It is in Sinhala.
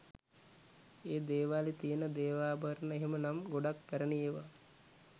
ඒ දේවාලේ තියෙන දේවාභරණ එහෙම නම් ගොඩක් පැරණි ඒවා